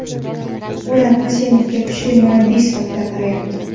Ular Qosimovga kuchli murabbiy sifatida qarayapti.